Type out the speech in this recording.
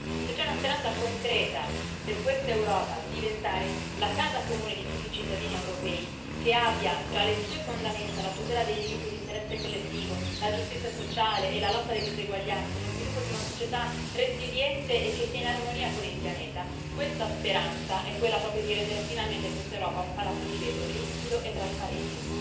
Se c'è una speranza concreta per questa Europa di diventare la casa comune di tutti i cittadini europei, che abbia tra le sue fondamenta la tutela dei diritti e l'interesse collettivo, la giustizia sociale e la lotta alle diseguaglianze, lo sviluppo di una società resiliente e che sia in armonia con il pianeta, questa speranza è quella di rendere finalmente questa Europa un palazzo di vetro, limpido e trasparente.